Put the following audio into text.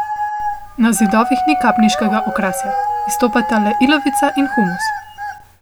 Na zidovih ni kapniškega okrasja, izstopata le ilovica in humus.